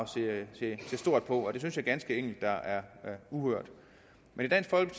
se stort på og det synes jeg ganske enkelt er uhørt men